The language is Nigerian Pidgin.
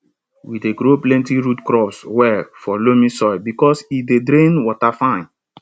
we dey grow plenty root crops well for loamy soil because e dey drain water fine